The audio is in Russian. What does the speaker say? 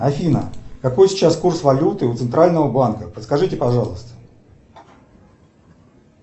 афина какой сейчас курс валюты у центрального банка подскажите пожалуйста